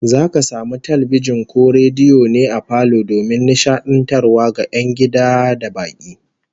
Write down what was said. Zaka samu talbijin ko rediyo ne a falo domin nishadantarwa ga 'yan gida da baki